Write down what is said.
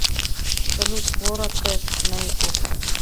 салют флора кэш на ютуб